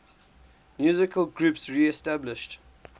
musical groups reestablished